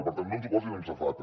per tant no ens ho posin amb safata